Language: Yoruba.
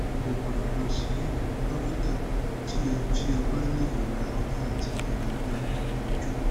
o gbọdọ lọ si dokita ti o ti o ba ni irora ori ati irora ni gbogbo oju